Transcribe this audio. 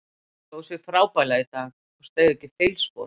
Hann stóð frábærlega í dag og steig ekki feilspor.